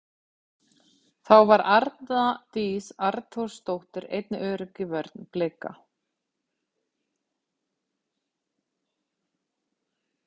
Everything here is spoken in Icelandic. Þá var Arna Dís Arnþórsdóttir einnig örugg í vörn Blika.